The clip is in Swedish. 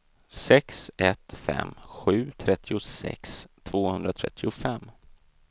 sex ett fem sju trettiosex tvåhundratrettiofem